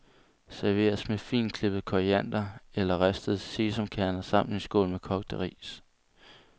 Serveres med fintklippet koriander eller ristede sesamkerner samt en skål med kogt ris.